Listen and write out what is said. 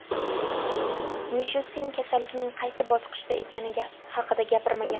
Mishustin kasallikning qaysi bosqichda ekani haqida gapirmagan.